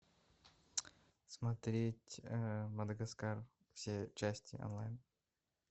смотреть мадагаскар все части онлайн